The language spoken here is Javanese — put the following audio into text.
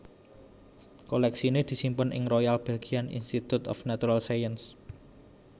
Kolèksiné disimpen ing Royal Belgian Institute of Natural Sciences